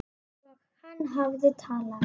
Og hann hafði talað.